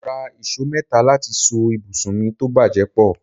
Mo rà ìṣó mẹ́ta láti so ibùsùn mi tó bàjẹ́ pọ̀